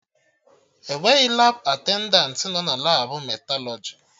Enweghị Labụ atendantị nọ na Labụ metalọjị